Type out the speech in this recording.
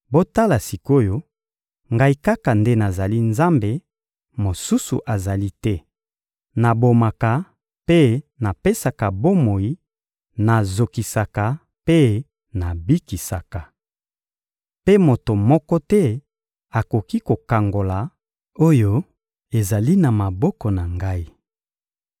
Botala sik’oyo, Ngai kaka nde nazali Nzambe; mosusu azali te! Nabomaka mpe napesaka bomoi; nazokisaka mpe nabikisaka. Mpe moto moko te akoki kokangola oyo ezali na maboko na Ngai.